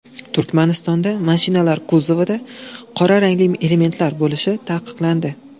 Turkmanistonda mashinalar kuzovida qora rangli elementlar bo‘lishi taqiqlandi.